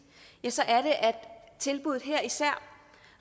tilbuddet